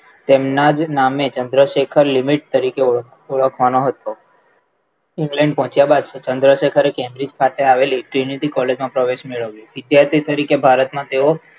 તેમના જ નામે ચંદ્રશેખર લિમિટ તરીકે ઓળખવામાં હતો England પહોંચ્યા બાદ ચંદ્રશેખરે Cambridge ખાતે આવેલી sanitary college માં પ્રવેશ મેળવ્યો વિદ્યાર્થી તરીકે ભારતમાં તેઓ